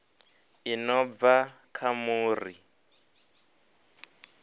i no bva kha muri